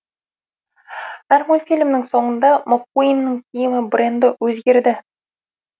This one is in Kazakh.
әрі мультфильмнің соңында маккуиннің киімі бренді өзгерді